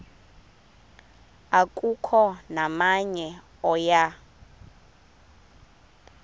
akukho namnye oya